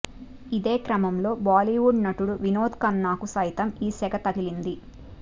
ఇదే క్రమంలో బాలీవుడ్ నటుడు వినోద్ ఖన్నాకు సైతం ఈ సెగ తగిలింది